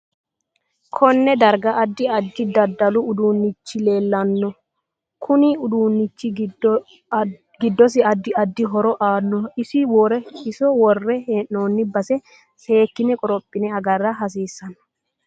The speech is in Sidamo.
Konnne darga addi addi. dadalu. uduunichi leelanno kuni uduunichi giddosi addi addi horo aanoho iso worre heenooni base seekine korophine agara hasiisanno